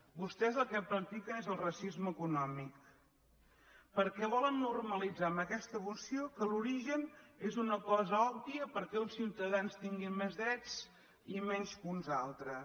vos·tès el que practiquen és el racisme econòmic perquè volen normalitzar amb aquesta moció que l’origen és una cosa òbvia perquè uns ciutadans tinguin més drets i menys que uns altres